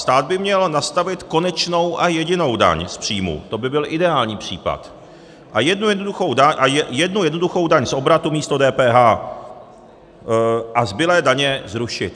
Stát by měl nastavit konečnou a jedinou daň z příjmu, to by byl ideální případ, a jednu jednoduchou daň z obratu místo DPH a zbylé daně zrušit.